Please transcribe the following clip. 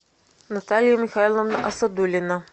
наталья михайловна асадулина